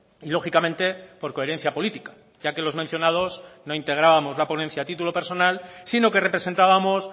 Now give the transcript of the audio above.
y lógicamente por coherencia política ya que los mencionados no integrábamos la ponencia a título personal sino que representábamos